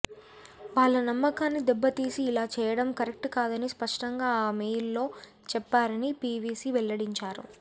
వాళ్ల నమ్మకాన్ని దెబ్బ తీసి ఇలా చేయడం కరెక్ట్ కాదని స్పష్టంగా ఆ మెయిల్లో చెప్పానని పీవీపీ వెల్లడించాడు